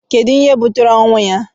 Kedu ihe butere ọnwụ ya?